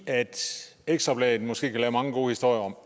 ekstra bladet måske kan lave mange gode historier om